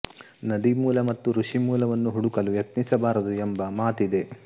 ನದಿ ಮೂಲ ಮತ್ತು ಋಷಿ ಮೂಲ ವನ್ನು ಹುಡುಕಲು ಯತ್ನಿಸಬಾರದು ಎಂಬ ಮತಿದೆ